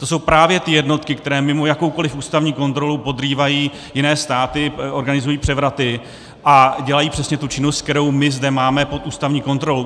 To jsou právě ty jednotky, které mimo jakoukoliv ústavní kontrolu podrývají jiné státy, organizují převraty a dělají přesně tu činnost, kterou my zde máme pod ústavní kontrolou.